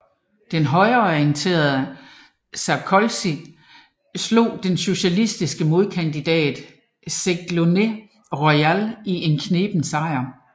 Den højreorienterede Sarkozy slog den socialistiske modkandidat Ségolène Royal i en kneben sejr